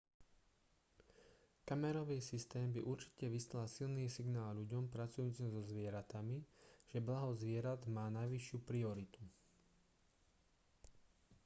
kamerový systém by určite vyslal silný signál ľuďom pracujúcim so zvieratami že blaho zvierat má najvyššiu prioritu